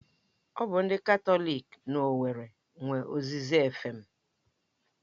Ọ bụ ndị Katọlik na owerri nwe Oziza efem